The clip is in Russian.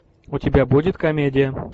у тебя будет комедия